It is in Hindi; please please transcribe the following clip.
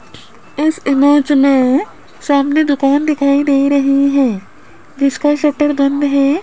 इस इमेज में सामने एक दुकान दिखाई दे रही है जिसका शटर बंद है।